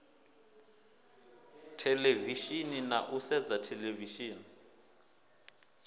theḽevishini na u sedza theḽevishini